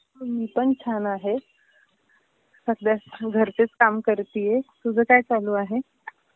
मी पण छान आहे. सध्या घरचेच काम करतीये. तुझ काय चालू आहे?